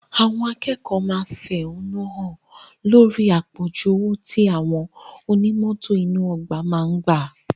Àwọn akẹ́kọ̀ọ́ máa fẹ̀hánúhàn lórí àpọ̀jù owó tí àwọn oní mọ́tò inú ọgbà máa ń gbà